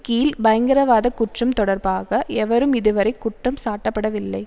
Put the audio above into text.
கீழ் பயங்கரவாத குற்றம் தொடர்பாக எவரும் இதுவரை குற்றம் சாட்டப்படவில்லை